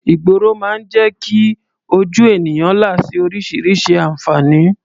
Ìgboro máa ń jẹ́ kí ojú ènìyàn là sí oríṣiríṣi àǹfààní.